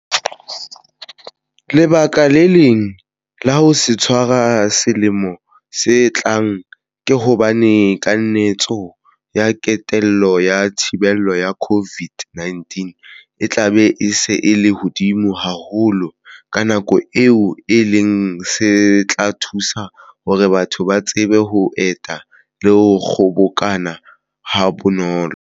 Lebaka le leng la ho se tshwara selemong se tlang ke hobane kanetso ya kentelo ya thibelo ya COVID-19 e tla be e se e le hodimo haholo ka nako eo, e leng se tla thusa hore batho ba tsebe ho eta le ho kgobokana habonolo.